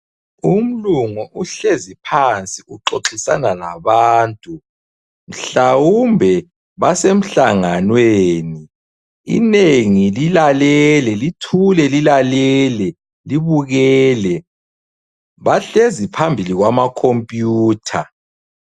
Umlungu uhlezi phansi uxoxisana labantu mhlawumbe basemhlanganweni .Inengi lilalele, lithule lilalele libukele. Bahlezi phambili kwamakhompiyutha.